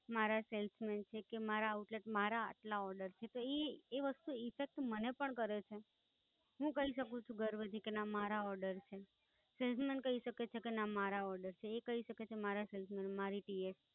મારા Salesman છે, કે મારા Outlet, મારા આટલા Order છે. તો ઈ, ઈ વસ્તુ Effect મને પણ કરે છે. હું કહી શકું છું ગર્વ થી કે ના મારા Order છે. Salesman કહી શકે છે કે ના મારા Order છે. એ કહી શકે છે કે મારા Salesman, મારી TH.